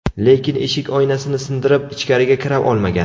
Lekin eshik oynasini sindirib, ichkariga kira olmagan.